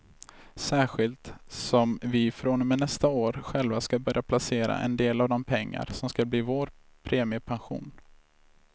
Särskilt som vi från och med nästa år själva ska börja placera en del av de pengar som ska bli vår premiepension.